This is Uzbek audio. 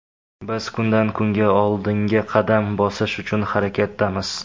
Biz kundan-kunga oldinga qadam bosish uchun harakatdamiz.